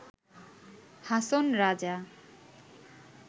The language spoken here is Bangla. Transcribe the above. হাসন রাজা